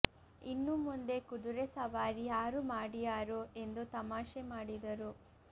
ಇನ್ನು ಮುಂದೆ ಕುದುರೆ ಸವಾರಿ ಯಾರು ಮಾಡಿಯಾರು ಎಂದು ತಮಾಷೆ ಮಾಡಿದರು